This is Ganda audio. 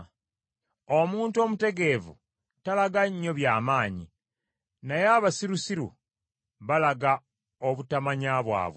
Omuntu omutegeevu talaga nnyo by’amanyi, naye abasirusiru balaga obutamanya bwabwe.